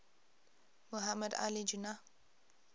muhammad ali jinnah